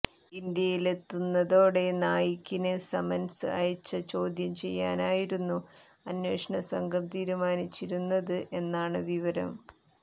ഇന്ത്യയിലെത്തുന്നതോടെ നായിക്കിന് സമന്സ് അയച്ച് ചോദ്യം ചെയ്യാനായിരുന്നു അന്വേഷണ സംഘം തീരുമാനിച്ചിരുന്നത് എന്നാണ് വിവരം